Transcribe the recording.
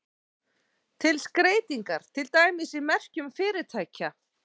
Til skreytingar, til dæmis í merkjum fyrirtækja.